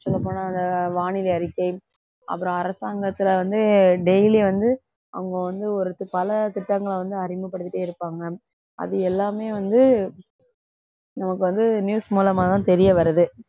சொல்லப் போனா அந்த வானிலை அறிக்கை அப்புறம் அரசாங்கத்தில வந்து daily வந்து அவங்க வந்து பல திட்டங்களை வந்து அறிமுகப்படுத்திட்டே இருப்பாங்க அது எல்லாமே வந்து நமக்கு வந்து news மூலமா தான் தெரிய வருது